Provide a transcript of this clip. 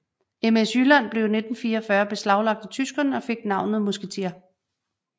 MS Jylland blev i 1944 beslaglagt af tyskerne og fik navnet Musketier